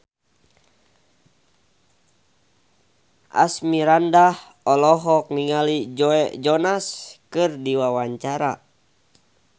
Asmirandah olohok ningali Joe Jonas keur diwawancara